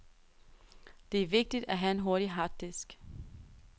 Det er vigtigt, at have en hurtig harddisk.